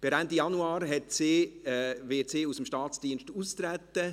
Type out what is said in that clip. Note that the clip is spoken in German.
Per Ende Januar wird sie aus dem Staatsdienst austreten.